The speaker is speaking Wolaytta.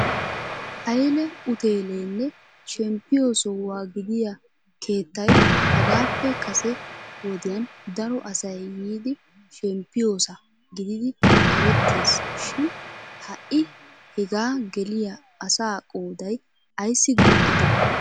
Hayle utteelenne shemppiyo sohuwa gidiya keettay hagappe kase wodiyan daro asay yiidi shemppiyoosa gididi erettees shin ha'i hega geliyaa asa qooday ayssi guuxxide?